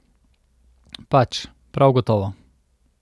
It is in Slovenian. Pač, prav gotovo.